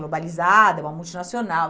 Globalizada, uma multinacional.